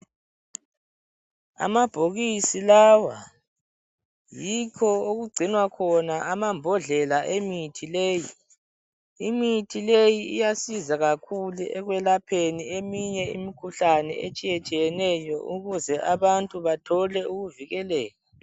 Amabhokisi lawa yikho okugcinwa khona amambodlela emithi leyi. Imithi leyi iyasiza kakhulu ekwelapheni eminye imkhuhlane etshiyetshiyeneyo ukuze abantu bathole ukuvikeleka.